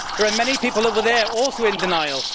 There are many people over there also in denial.